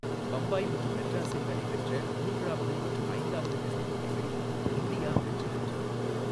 பம்பாய் மற்றும் மெட்ராஸில் நடைபெற்ற மூன்றாவது மற்றும் ஐந்தாவது டெஸ்ட் போட்டிகளில் இந்தியா வெற்றி பெற்றது.